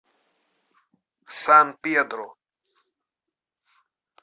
сан педро